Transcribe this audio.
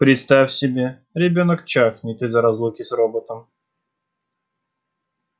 представь себе ребёнок чахнет из-за разлуки с роботом